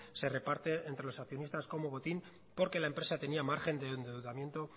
se reparte entre los accionistas como botín porque la empresa tenia margen de endeudamiento